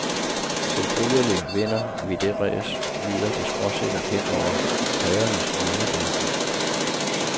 Selvfølgelig vinder vi dét ræs, lyder det skråsikkert hen over paddernes hjemmebase.